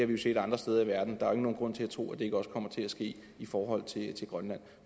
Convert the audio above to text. vi jo set andre steder i verden der er nogen grund til at tro at det ikke også kommer til at ske i forhold til grønland